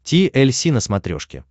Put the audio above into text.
ти эль си на смотрешке